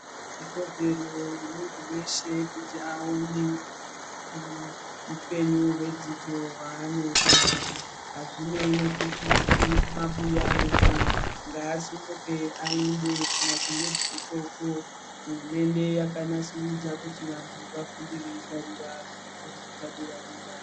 Ikodzero yemuntu weshe kuti awone upenyu hwedzidzo hwaanoda, azvinei nokuti uri kumabuya ere ngasimuke aende kumadhoroba ikoko hurumende yakanasurudza kuti vantu vafunde veigarira pazvikora zvepadera-dera.